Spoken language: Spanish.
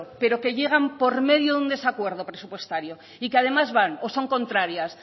pero que llegan por medio de un desacuerdo presupuestario y que además van o son contrarias